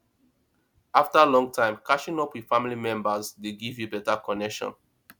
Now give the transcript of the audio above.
after long time catching up with family members dey give you better connection